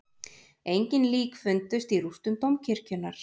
Engin lík fundust í rústum dómkirkjunnar